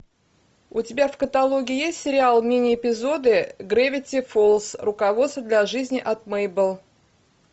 у тебя в каталоге есть сериал мини эпизоды гравити фолз руководство для жизни от мейбл